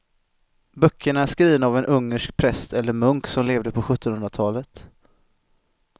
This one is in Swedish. Böckerna är skrivna av en ungersk präst eller munk som levde på sjuttonhundratalet.